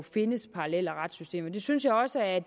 findes parallelle retssystemer det synes jeg også at